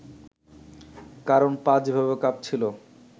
কারণ পা যেভাবে কাঁপছিল